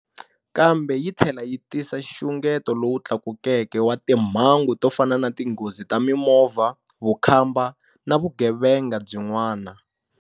Kambe yi tlhela yi tisa nxungeto lowu tlakukeke wa timhangu to fana na tinghozi ta mimovha, vukhamba na vugevenga byin'wana.